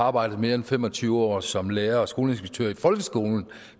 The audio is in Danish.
arbejdet mere end fem og tyve år som lærer og skoleinspektør i folkeskolen